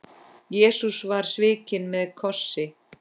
Jesús var svikinn með kossi.